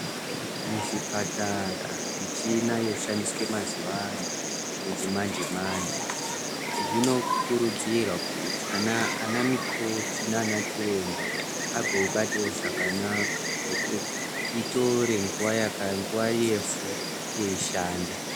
Muzvipatara muchina yoshandiswa mazuwa anaya yechimanje manje zvinokurudzirwa kuti anamikoti nanachiremba agoibatewo zvakanaka itore nguwa yefu yeishanda.